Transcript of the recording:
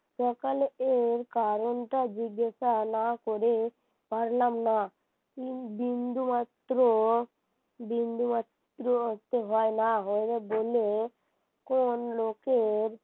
দোকানে এর কারণটা জিজ্ঞাসা না করে পারলাম না তিন বিন্দুমাত্র বিন্দুমাত্র হয় না হলে বলে কোন লোকের